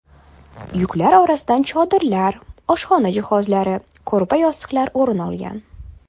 Yuklar orasidan chodirlar, oshxona jihozlari, ko‘rpa-yostiqlar o‘rin olgan.